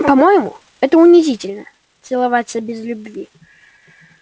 по моему это унизительно целоваться без любви